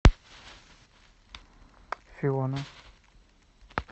фиона